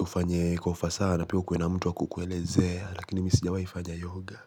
ufanye kwa ufasaha sana pia ukue na mtu wa kukuelezea lakini mi sijawai fanya yoga.